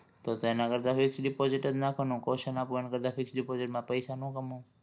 તો તો એના કરતા fix deposit જ નાખુને caution આપું એના કરતા fix deposit માં પૈસા નો કમાવ